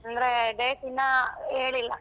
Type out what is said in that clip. ಅಂದ್ರೆ date ಇನ್ನ ಹೇಳಿಲ್ಲ.